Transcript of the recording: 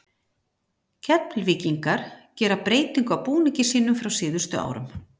Keflvíkingar gera breytingu á búningi sínum frá síðustu árum.